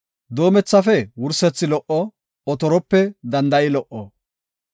Doomethafe wursethi lo77o; otorope danda7i lo77o.